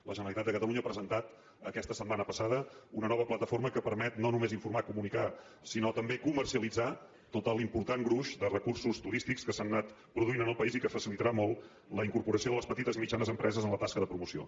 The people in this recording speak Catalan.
la generalitat de catalunya ha presentat aquesta setmana passada una nova plataforma que permet no només informar comunicar sinó també comercialitzar tot l’important gruix de recursos turístics que s’han anat produint en el país i que facilitarà molt la incorporació de les petites i mitjanes empreses en la tasca de promoció